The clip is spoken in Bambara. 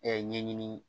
ɲɛɲini